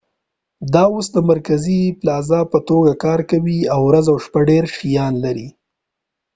دا اوس د مرکزي پلازا په توګه کار کوي او ورځ او شپه ډير شيان لري